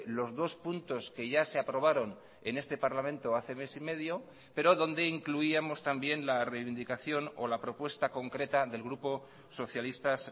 los dos puntos que ya se aprobaron en este parlamento hace mes y medio pero donde incluíamos también la reivindicación o la propuesta concreta del grupo socialistas